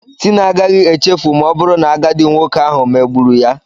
Tina agaghị echefu ma ọ bụrụ na agadi nwoke ahụ megburu ya.